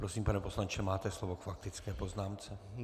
Prosím, pane poslanče, máte slovo k faktické poznámce.